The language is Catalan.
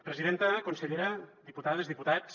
presidenta consellera diputades diputats